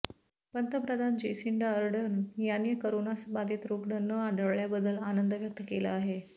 पंतप्रधान Jacinda Ardern यांनी करोनाबाधित रुग्ण न आढळल्याबद्दल आनंद व्यक्त केला आहे